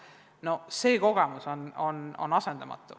No see kogemus on asendamatu.